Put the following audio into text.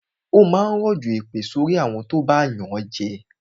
Ó máa rọ̀jọ̀ èpè sorí àwọn tó bá yànjẹ